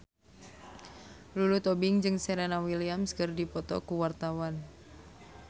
Lulu Tobing jeung Serena Williams keur dipoto ku wartawan